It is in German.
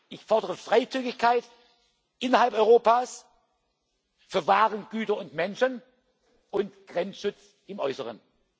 Ich fordere Freizügigkeit innerhalb Europas für Waren, Güter und Menschen, und Grenzschutz im Äußeren.